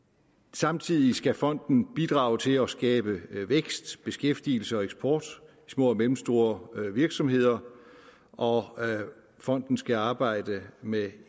samtidig skal fonden bidrage til at skabe vækst beskæftigelse og eksport i små og mellemstore virksomheder og fonden skal arbejde med